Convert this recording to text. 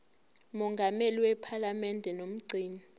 mongameli wephalamende nomgcini